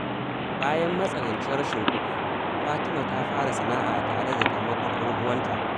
Bayan matsanancin rashin kuɗi, Fatima ta fara sana’a tare da taimakon ‘yan uwanta.